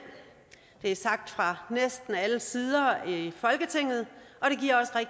det er blevet sagt fra næsten alle sider her i folketinget